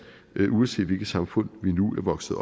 uanset hvilket samfund vi nu er vokset